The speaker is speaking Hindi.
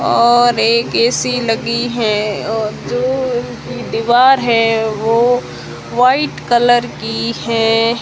और एक ए_सी लगी हैं और जो उनकी दीवार है वो वाइट कलर की हैं।